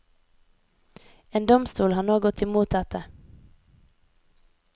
En domstol har nå gått imot dette.